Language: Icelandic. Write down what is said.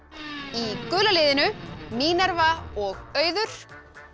í gula liðinu Mínerva og Auður